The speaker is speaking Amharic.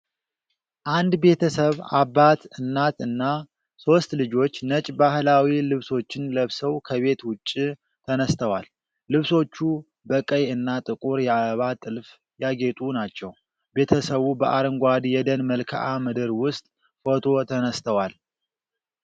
አንድ ቤተሰብ አባት፣ እናት እና ሦስት ልጆች ነጭ ባህላዊ ልብሶችን ለብሰው ከቤት ውጭ ተነስተዋል። ልብሶቹ በቀይ እና ጥቁር የአበባ ጥልፍ ያጌጡ ናቸው። ቤተሰቡ በአረንጓዴ የደን መልክዓ ምድር ውስጥ ፎቶ ተነስተዋል።